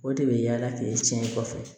O de bɛ yaala k'e tiɲɛ i kɔfɛ